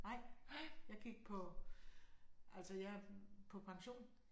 Nej. Jeg gik på altså jeg er på pension